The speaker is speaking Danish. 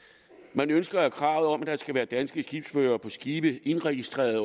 man ønsker at kravet om at der skal være danske skibsførere på skibe indregistreret